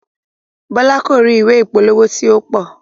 Bọlá ko ri ìwé ìpolówó ti o pọ.